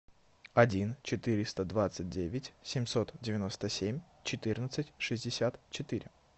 один четыреста двадцать девять семьсот девяносто семь четырнадцать шестьдесят четыре